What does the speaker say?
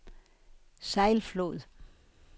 Sejlflod